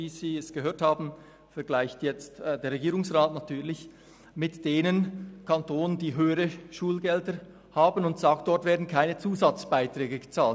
Wie Sie gehört haben, vergleicht der Regierungsrat den Kanton Bern mit denjenigen Kantonen, die höhere Schulgelder verlangen, und sagt, dort würden keine Zusatzbeiträge bezahlt.